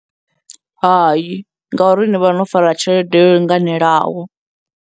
Hai, ngauri ni vha no fara tshelede yo linganelaho.